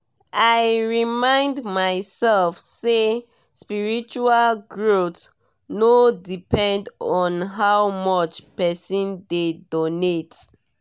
i remind myself say spiritual growth no depend on how much person dey donate.